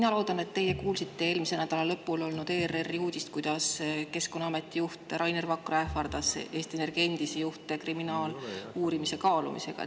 Ma loodan, et te kuulsite eelmise nädala lõpul olnud ERR-i uudist, et Keskkonnaameti juht Rainer Vakra ähvardas Eesti Energia endisi juhte kriminaaluurimise kaalumisega.